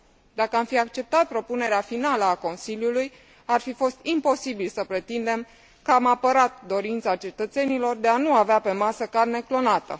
Dacă am fi acceptat propunerea finală a Consiliului, ar fi fost imposibil să pretindem că am apărat dorința cetățenilor de a nu avea pe masă carne clonată.